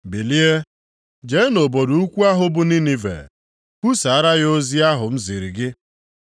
“Bilie, jee nʼobodo ukwu ahụ bụ Ninive, kwusaara ya ozi ahụ m ziri gị.”